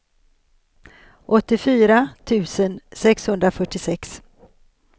åttiofyra tusen sexhundrafyrtiosex